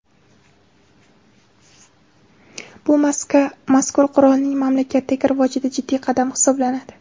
Bu mazkur qurolning mamlakatdagi rivojida jiddiy qadam hisoblanadi.